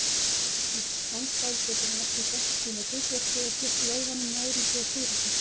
Stíflist kransæð getur hún ekki gegnt sínu hlutverki og flutt vöðvanum næringu og súrefni.